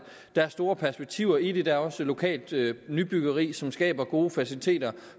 der er store perspektiver i det og der er også lokalt nybyggeri som skaber gode faciliteter